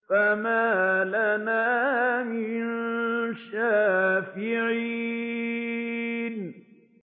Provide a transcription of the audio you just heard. فَمَا لَنَا مِن شَافِعِينَ